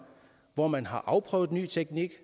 hvor man har afprøvet ny teknik